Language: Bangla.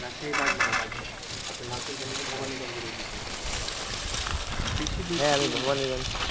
রাশিয়ায় বাঘ মারা বাঘ মারা আপনি নাম শুনছেন নাকি ভবানীগঞ্জ এর ঐদিকে